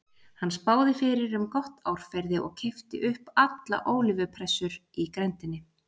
Hann spáði fyrir um gott árferði og keypti upp alla ólífupressur í grenndinni.